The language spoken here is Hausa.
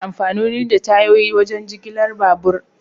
Ana amfani da tayoyi wajen jigilar babur.